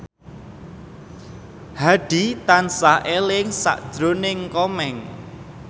Hadi tansah eling sakjroning Komeng